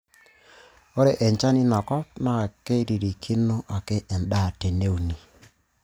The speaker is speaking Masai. Ore enchan ina kop naa keiririkino ake endaa teneuni.